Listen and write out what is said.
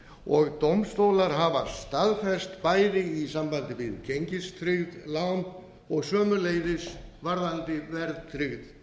og dómstólar hafa staðfest bæði í sambandi við gengistryggð lán og sömuleiðis varðandi verðtryggð